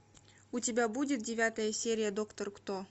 у тебя будет девятая серия доктор кто